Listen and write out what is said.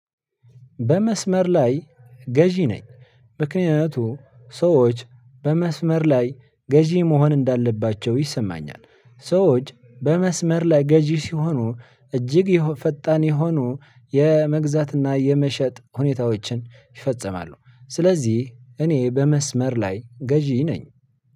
በመስመር ላይ ገዢ ነኝ ምክንያቱም ሰዎች በመስመር ላይ ገዢ መሆን እንዳለባቸው ይሰማኛል። ሰዎች በመስመር ላይ ገዢ ሲሆኑ እጅግ የፈጣን የሆኑ የመግዛትና የመሸጥ ሁኔታዎችን ይፈጸማሉ። ስለዚህ እኔ በመስመር ላይ ገዢ ነኝ።